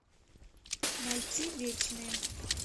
найти вечные